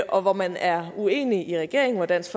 og man er uenig i regeringen og dansk